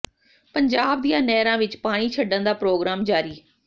ਪੰਜਾਬ ਦੀਆਂ ਨਹਿਰਾਂ ਵਿੱਚ ਪਾਣੀ ਛੱਡਣ ਦਾ ਪ੍ਰੋਗਰਾਮ ਜਾਰੀ